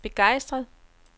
begejstret